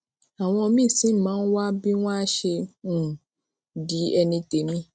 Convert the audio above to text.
àwọn míì sì máa ń wá bí wón á ṣe um di ẹni tèmí